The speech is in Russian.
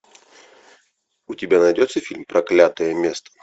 у тебя найдется фильм проклятое место